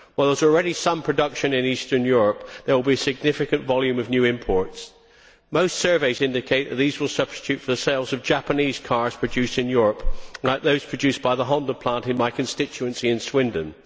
While there is already some production in eastern Europe, there will be a significant volume of new imports. Most surveys indicate that these will substitute the sales of Japanese cars produced in Europe, like those produced by the Honda plant in my constituency in Swindon.